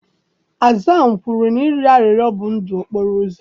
Hasan kwuru na ịrịọ arịrịọ bụ ndụ okporo ụzọ.